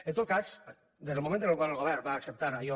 en tot cas des del moment en el qual el govern va acceptar allò